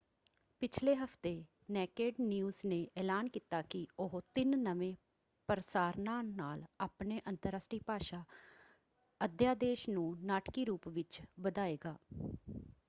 ਪਿਛਲੇ ਹਫ਼ਤੇ Naked News ਨੇ ਐਲਾਨ ਕੀਤਾ ਕਿ ਉਹ ਤਿੰਨ ਨਵੇਂ ਪ੍ਰਸਾਰਨਾਂ ਨਾਲ ਆਪਣੇ ਅੰਤਰਰਾਸ਼ਟਰੀ ਭਾਸ਼ਾ ਅਧਿਆਦੇਸ਼ ਨੂੰ ਨਾਟਕੀ ਰੂਪ ਵਿੱਚ ਵਧਾਏਗਾ।